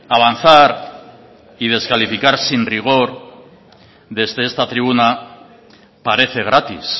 avanzar y descalificar sin rigor desde esta tribuna parece gratis